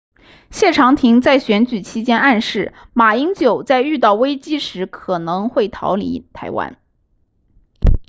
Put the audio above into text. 谢长廷在选举期间暗示马英九在遇到危机时可能会逃离台湾